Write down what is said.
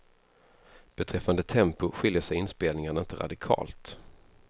Beträffande tempo skiljer sig inspelningarna inte radikalt.